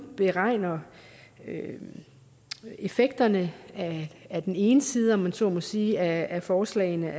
beregner effekterne af den ene side om man så må sige af forslagene